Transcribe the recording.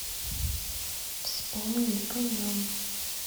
вспомни о нем